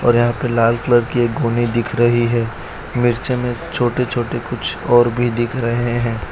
और यहां पे लाल कलर की एक गोनी दिख रही है मिर्ची में छोटे छोटे कुछ और भी दिख रहे हैं।